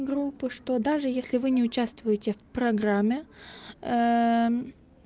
группы что даже если вы не участвуете в программе